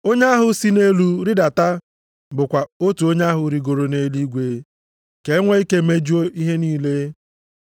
Onye ahụ si nʼelu rịdata bụkwa otu onye ahụ rigoro nʼeluigwe, ka o nwee ike mejuo ihe niile.)